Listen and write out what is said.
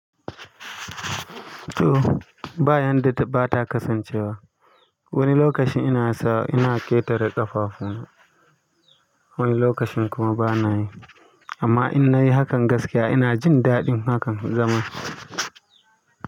To ba yanda ba ta kasancewa. Wani lokocin ina sa ina ƙetare ƙafafu na, wani lokacin kuma bana yi. Amma in na yi hakan gaskiya ina jin daɗin hakan zama.